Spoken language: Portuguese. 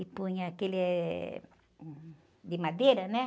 E punha aquele, eh, hum, de madeira, né?